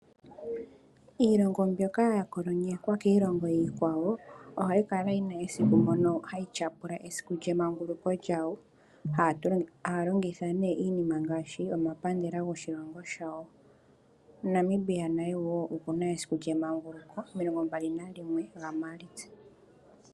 Iilongo mbyoka ya kolonyekwa kiilongo iikwawo, ohayi kala yi na esiku moka hayi tyapula esiku lyemanguluko lyawo, haya longitha iinima ngaashi omapandela goshilongo shawo. Namibia naye wo oku na esiku lyemanguluko, 21 gaMaalitsa.